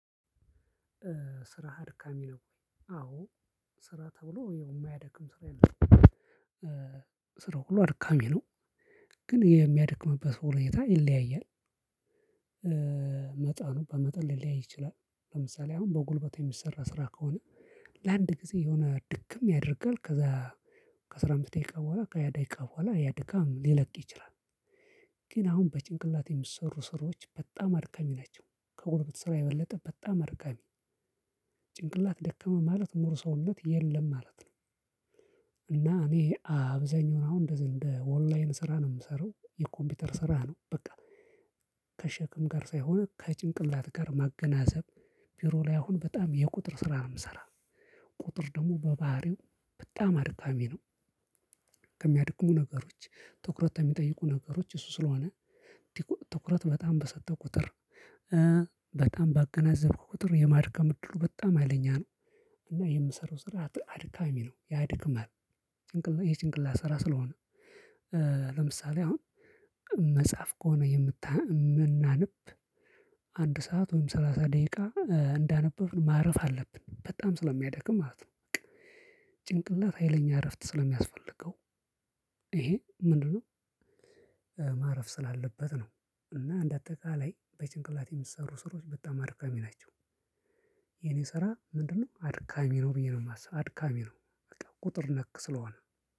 ስራ አድካሚ ነው። አ፣ ስራ ተብሎ የማያደክም ሰራ የለም ስራው ሁሉ አድካሚ ነው ግን የሚያደክምበት ሁኔታ ይለያያል። መጠኑ በመጠን ሊለያይ ይችላል። ለምሳሌ አሁን በጉልበት የሚሰራ ስራ ከሆነ ለአንድ ጊዜ የሆነ ድክም ያደርጋል ከዛ ከስራ አምስት ደቂቃ በኋላ ከሃያ ደቂቃ በኋላ ያ ድካም ሊለቅ ይችላል ግን አሁን በጭንቅላት የሚሰሩ ስራዎች በጣም አድካሚ ናቸው ከጉልበት ስራ የበለጠ በጣም አድካሚ ጭንቅላት ደከመ ማለት ሞር ሰውነት የለም ማለት ነው። እና እኔ አብዛኛውን አሁን እንደ እንደ ኦንላይን ስራ ነው የምሰራው፣ የኮምፒውተር ስራ ነው በቃ ከሸክም ጋር ሳይሆን ከጭንቅላት ጋር ማገናዘብ ቢሮ ላይ አሁን በጣም የቁጥር ስራ ነው የምሰራ ቁጥር ደግሞ በባህሪው በጣም አድካሚ ነው። ከሚያድክሙ ነገሮች፣ ትኩረት ከሚጠይቁ ነገሮች እሱ ስለሆነ ትኩረት በጣም በሰጠህ ቁጥር፣ በጣም ባገናዘብክ ቁጥር የማድከም ድሉ በጣም ሀይለኛ ነው እና የምሰራው ስራ አድካሚ ነው ያድክማል ጭንቅላት ይሄ ጭንቅላት ስራ ስለሆነ ለምሳሌ አሁን መጽሐፍ ከሆነ የምታንብ የምናንብ አንድ ሰዓት ወይም ሰላሳ ደቂቃ እንዳነበብን ማረፍ አለብን በጣም ስለሚያደክም ማለት ነው። ጭንቅላት ሀይለኛ እረፍት ስለሚያስፈልገው ይሄ ምንድነው ማረፍ ስላለበት ነው እና እንደ አጠቃላይ በጭንቅላት የሚሰሩ ስራዎች በጣም አድካሚ ናቸው። የኔ ስራ ምንድነው አድካሚ ነው ብዬ ነው የማስበው፣ አድካሚ ነው ቁጥር ነክ ስለሆነ